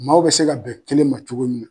Maaw bɛ se ka bɛn kelen ma cogo min na.